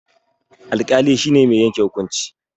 Alƙali shine mai yanke hukunci